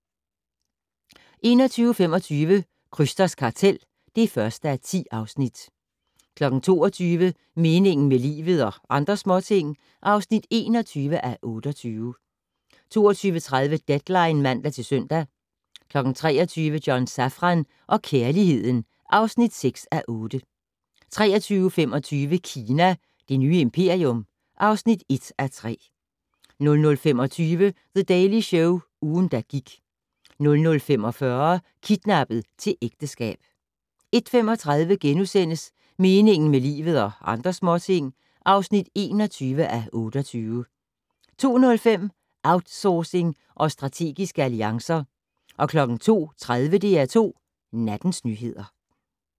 21:25: Krysters kartel (1:10) 22:00: Meningen med livet - og andre småting (21:28) 22:30: Deadline (man-søn) 23:00: John Safran og kærligheden (6:8) 23:25: Kina - verdens nye imperium (1:3) 00:25: The Daily Show - ugen, der gik 00:45: Kidnappet til ægteskab 01:35: Meningen med livet - og andre småting (21:28)* 02:05: Outsourcing og strategiske alliancer 02:30: DR2 Nattens nyheder